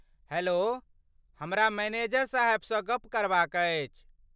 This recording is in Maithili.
हैलो, हमरा मैनेजर साहेबसँ गप करबाक अछि।